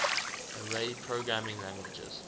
array programming languages